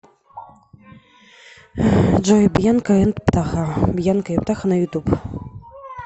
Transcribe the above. джой бьянка энд птаха бьянка и птаха на ютуб